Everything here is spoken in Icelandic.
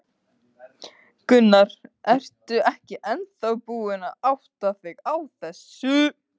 Gunnar: Ertu ekki ennþá búin að átta þig á þessu?